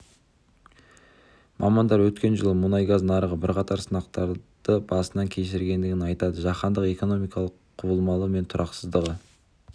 мамандар өткен жылы мұнай-газ нарығы бірқатар сынақтарды басынан кешіргенін айтады жаһандық экономиканың құбылмалылығы мен тұрақсыздығы